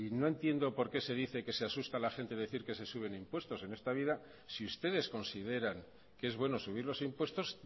no entiendo por qué se dice que se asusta la gente decir que se suben impuestos en esta vida si ustedes consideran que es bueno subir los impuestos